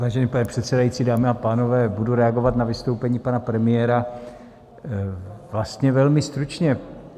Vážený pane předsedající, dámy a pánové, budu reagovat na vystoupení pana premiéra vlastně velmi stručně.